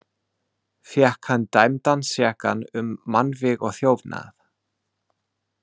Fékk hann dæmdan sekan um mannvíg og þjófnað.